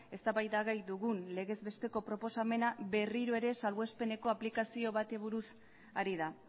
eztabaida gai dugun legez besteko proposamena berriro ere salbuespeneko aplikazio bati buruz ari da